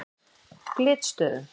Glitstöðum